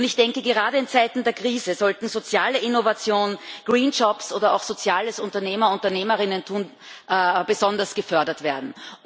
Ich denke, gerade in Zeiten der Krise sollten soziale Innovationen, green jobs oder auch soziales Unternehmer und Unternehmerinnentum besonders gefördert werden.